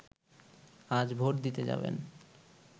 আজ ভোট দিতে যাবেন